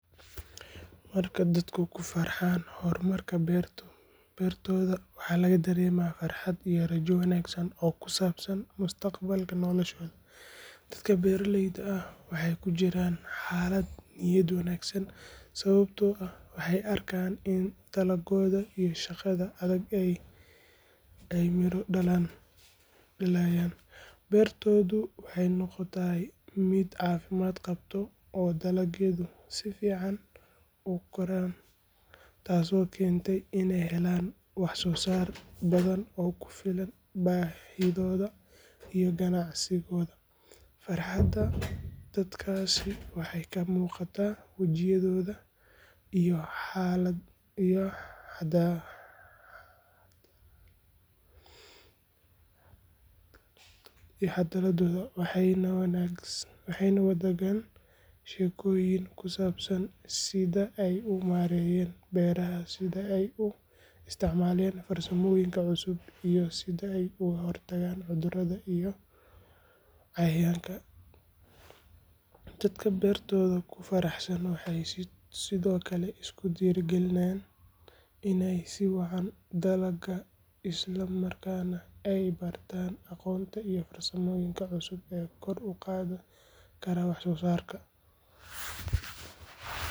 Marka dadku ku farxaan horumarka beertooda, waxaa laga dareemaa farxad iyo rajo wanaagsan oo ku saabsan mustaqbalka noloshooda. Dadka beeralayda ah waxay ku jiraan xaalad niyad wanaagsan sababtoo ah waxay arkaan in dadaalkooda iyo shaqada adag ay miro dhalayaan. Beertoodu waxay noqotay mid caafimaad qabta oo dalagyadu si fiican u koraan, taasoo keentay inay helaan wax-soo-saar badan oo ku filan baahidooda iyo ganacsigooda. Farxadda dadkaasi waxay ka muuqataa wejiyadooda iyo hadaladooda, waxayna wadaagaan sheekooyin ku saabsan sida ay u maareeyeen beeraha, sida ay u isticmaalayeen farsamooyin cusub iyo sida ay uga hortageen cudurrada iyo cayayaanka. Dadka beertooda ku faraxsan waxay sidoo kale isku dhiirrigeliyaan inay sii wadaan dadaalka, isla markaana ay bartaan aqoonta iyo farsamooyinka cusub ee kor u qaadi kara wax-soo-saarka.